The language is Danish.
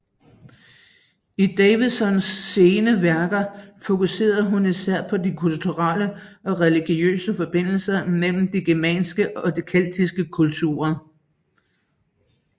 I Davidsons sene værker fokuserede hun især på de kulturelle og religiøse forbindelser mellem de germanske og keltiske kulturer